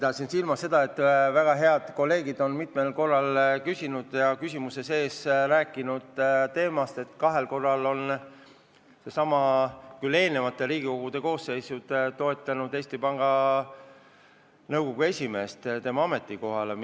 Pidasin silmas seda, et väga head kolleegid on mitmel korral märkinud, et kahel korral on Riigikogu – küll erinevad koosseisud – toetanud Eesti Panga Nõukogu esimehe kandidatuuri tema ametikohale.